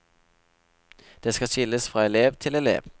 Det skal skilles fra elev til elev.